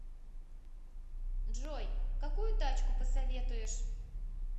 джой какую тачку посоветуешь